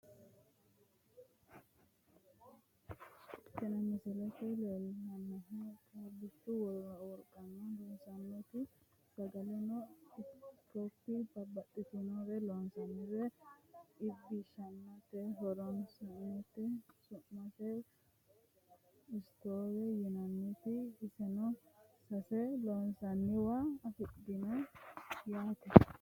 tini misile leellishshannohu caabbichu wolqanni loossannoti sagaleno ikkop babbaxxinore loosiratenna iibbishsirate horonsi'nannite su'mase stoowete yinannite iseno sase loosi'nanniwa afidhinote yaate